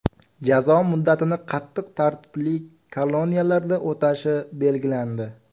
Jazo muddatini qattiq tartibli koloniyalarda o‘tashi belgilandi.